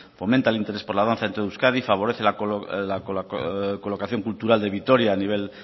fomenta el interés por la danza en euskadi favorece la colocación cultural de vitoria a nivel